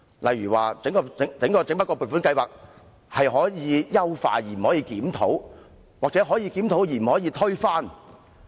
例如，整筆撥款津助制度可以優化，但不可以檢討；或是說可以檢討，但不可以推翻。